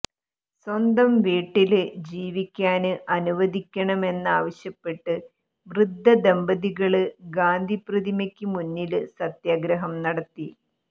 സ്വന്തം വീട്ടില് ജീവിക്കാന് അനുവദിക്കണമെന്നാവശ്യപ്പെട്ട് വൃദ്ധദമ്പതികള് ഗാന്ധി പ്രതിമക്ക് മുന്നില് സത്യഗ്രഹം നടത്തി